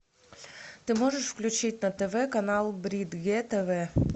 ты можешь включить на тв канал брид е тв